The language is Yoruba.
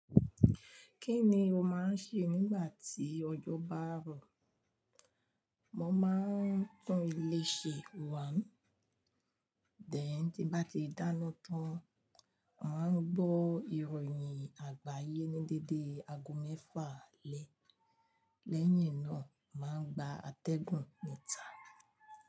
Kí ni o máa ń ṣe nígbà tí ọjọ́ bá rọ̀? Mo máa ń tún ilé ṣe 1 Then tí n bá ti dáná tán, màá gbọ́ ìròyìn àgbáyé ní dédé ago mẹ́fà alẹ́. Lẹ́yìn náà, màá gba atẹ́gùn níta.